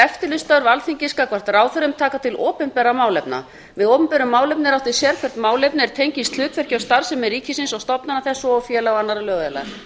eftirlitsstörf alþingis gagnvart ráðherrum taka til opinberra málefna með opinberu málefni er átt við sérhvert málefni er tengist hlutverki og starfsemi ríkisins og stofnana þess svo og félaga og annarra lögaðila